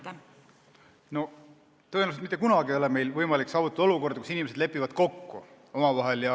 Tõenäoliselt ei ole mitte kunagi võimalik saavutada olukorda, kus kõik inimesed lepivad omavahel kokku.